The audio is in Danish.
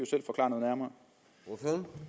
jo